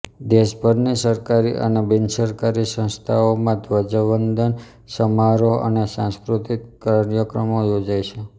દેશભરની સરકારી અને બિનસરકારી સંસ્થાઓમાં ધ્વજવંદન સમારોહ અને સાંસ્કૃતિક કાર્યક્રમો યોજાય છે